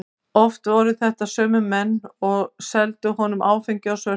Oft voru þetta sömu menn og seldu honum áfengi á svörtu.